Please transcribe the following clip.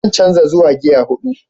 Zan canza zuwa gear hudu.